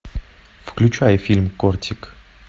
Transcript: включай фильм кортик